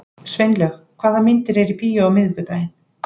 Sveinlaug, hvaða myndir eru í bíó á miðvikudaginn?